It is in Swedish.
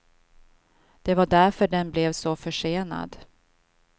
Det var därför den blev så försenad.